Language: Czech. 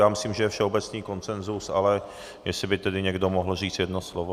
Já myslím, že je všeobecný konsenzus, ale jestli by tedy někdo mohl říct jedno slovo?